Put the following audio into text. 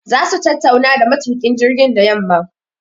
Za su tattauna da matukin jirgin da yamma